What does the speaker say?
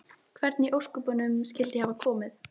Hvernig í ósköpunum skyldi ég hafa komið